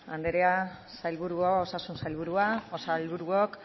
andrea sailburuak osasun sailburua sailburuok